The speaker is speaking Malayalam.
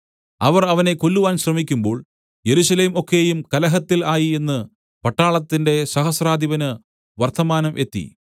അവർ അവനെ കൊല്ലുവാൻ ശ്രമിക്കുമ്പോൾ യെരൂശലേം ഒക്കെയും കലഹത്തിൽ ആയി എന്ന് പട്ടാളത്തിന്റെ സഹസ്രാധിപന് വർത്തമാനം എത്തി